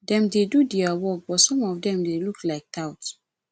dem dey do their work but some of dem look like tout